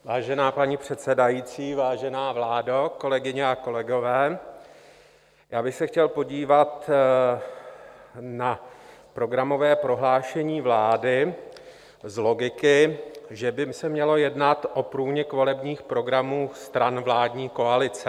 Vážená paní předsedající, vážená vládo, kolegyně a kolegové, já bych se chtěl podívat na Programové prohlášení vlády z logiky, že by se mělo jednat o průnik volebních programů stran vládní koalice.